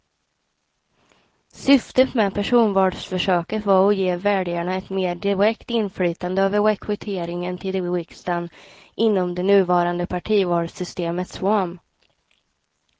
Syftet med personvalsförsöket var att ge väljarna ett mer direkt inflytande över rekryteringen till riksdagen inom det nuvarande partivalssystemets ram.